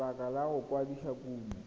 lebaka la go kwadisa kumo